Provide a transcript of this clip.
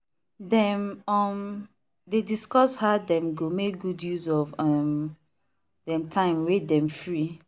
dem um dey discuss how dem go make good use of um dem time wey dem free.